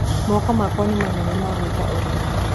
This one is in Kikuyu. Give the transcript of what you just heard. Moko makwa nĩ manene ma gwĩka ũrĩmi.